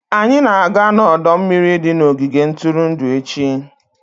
Anyị na-aga n'ọdọ mmiri di na ogige ntụrụndụ echi.